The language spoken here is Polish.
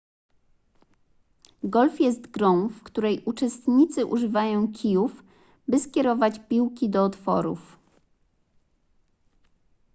golf jest grą w której uczestnicy używają kijów by skierować piłki do otworów